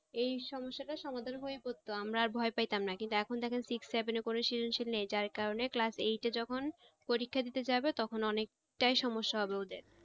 এই সমস্যাটার সমাধান হয়ে পড়ত আমরা আর ভয় পাইতামনা কিন্তু এখন দেখা যাচ্ছে যে six seven এ করে season sheet নেই যার কারনে class eight এ যখন পরীক্ষা দিতে যাবে তখন অনেক টাই সমস্যা হবে ওদের।